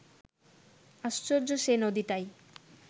আশ্চর্য সে নদীটাই